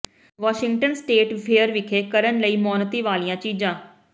Washington State Fair ਵਿਖੇ ਕਰਨ ਲਈ ਮੌਨਤੀ ਵਾਲੀਆਂ ਚੀਜ਼ਾਂ